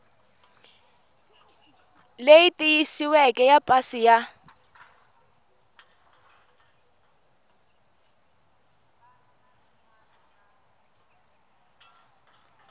leyi tiyisisiweke ya pasi ya